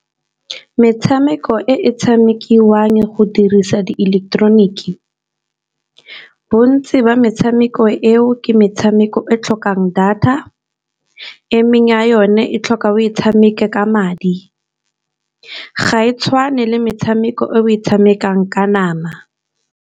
Metshameko e tshamekiwang go dirisa di ileketeroniki, bontsi ba metshameko eo ke metshameko e tlhokang data. Emeng ya yone e tlhoka o e tshameka ka madi, ga e tshwane le metshameko e o e tshamekang ka nama.